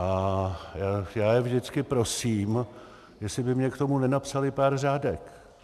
A já je vždycky prosím, jestli by mně k tomu nenapsali pár řádek.